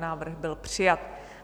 Návrh byl přijat.